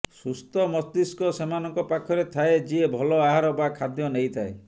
ସୁସ୍ଥ ମସ୍ତିଷ୍କ ସେମାନଙ୍କ ପାଖରେ ଥାଏ ଯିଏ ଭଲ ଆହାର ବା ଖାଦ୍ୟ ନେଇଥାଏ